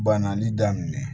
Bananli daminɛ